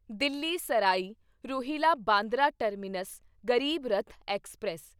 Delhi Sarai Rohilla Bandra terminus Garib Rath express